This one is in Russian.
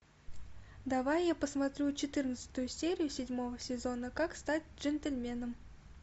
давай я посмотрю четырнадцатую серию седьмого сезона как стать джентльменом